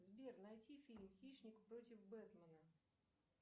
сбер найти фильм хищник против бетмена